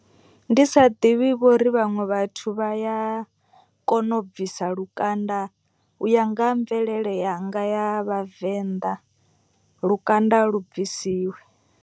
Ndi sa ḓivhi vhori vhaṅwe vhathu vha ya kona u bvisa lukanda. U ya nga ha mvelele yanga ya vhavenḓa lukanda a lu bvisiwi.